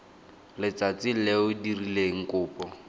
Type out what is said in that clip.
letsatsi le o dirileng kopo